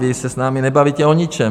Vy se s námi nebavíte o ničem.